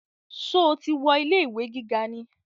Sọ ti wọ ilé ìwé gíga ni?